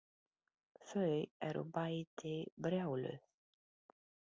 Þau eru bæði brjáluð.